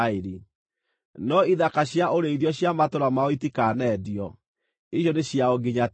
No ithaka cia ũrĩithio cia matũũra mao itikanendio; icio nĩ ciao nginya tene.